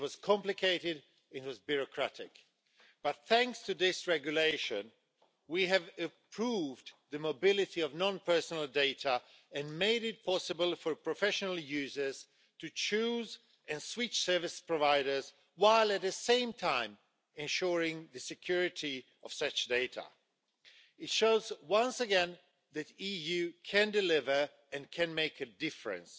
it was complicated and it was bureaucratic. Thanks to this regulation we have improved the mobility of non-personal data and made it possible for professional users to choose and switch service providers while, at the same time, ensuring the security of such data. It shows, once again, that the EU can deliver and can make a difference.